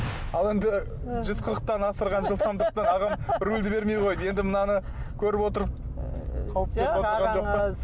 ал енді жүз қырықтан асырған жылдамдықта ағам рульді бермей қойды енді мынаны көріп отырып